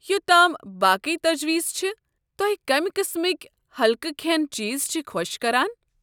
یوتام باقٕے تجویز چھ، توہہِ كمہِ قٕسمٕكۍ ہلكہٕ كھینہٕ چیز چھِ خۄش كران؟